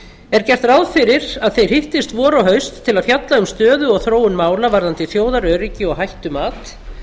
er gert ráð fyrir að þeir hittist vor og haust til að fjalla um stöðu og þróun mála varðandi þjóðaröryggi og hættumat